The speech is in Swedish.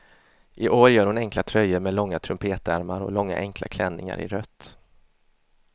I år gör hon enkla tröjor med långa trumpetärmar och långa enkla klänningar i rött.